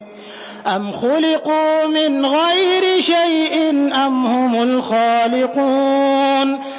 أَمْ خُلِقُوا مِنْ غَيْرِ شَيْءٍ أَمْ هُمُ الْخَالِقُونَ